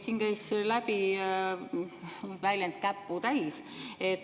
Siin käis läbi väljend "käputäis".